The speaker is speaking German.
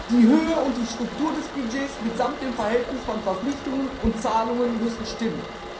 Die Höhe und die Struktur des Budgets mitsamt dem Verhältnis von Verpflichtungen und Zahlungen müssen stimmen.